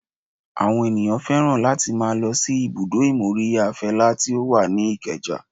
Àwọn ènìyàn fẹ́ràn láti máa lọ sí ibùdó ìmóríyá Fela tí ó wà ní ìkeja